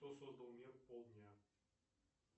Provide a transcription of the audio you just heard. кто создал мир полдня